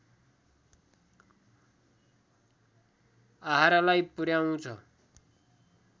आहारालाई पुर्‍याउँछ